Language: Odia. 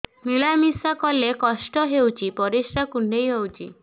ମିଳା ମିଶା କଲେ କଷ୍ଟ ହେଉଚି ପରିସ୍ରା କୁଣ୍ଡେଇ ହଉଚି